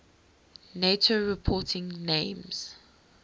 nato reporting names